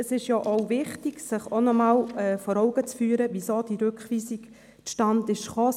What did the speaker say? Es ist auch wichtig, sich noch einmal vor Augen zu führen, weshalb die Rückweisung überhaupt zustande gekommen ist.